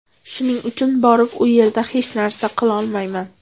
Shuning uchun borib u yerda hech narsa qilolmayman.